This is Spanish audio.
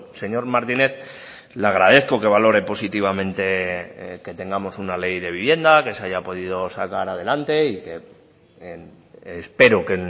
señor martínez le agradezco que valore positivamente que tengamos una ley de vivienda que se haya podido sacar adelante y que espero que